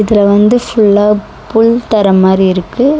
இதுல வந்து ஃபுல்லா புள் தர மாரி இருக்கு.